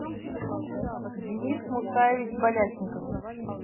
денис мусаевич балясников